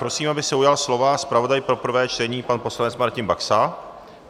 Prosím, aby se ujal slova zpravodaj pro prvé čtení pan poslanec Martin Baxa.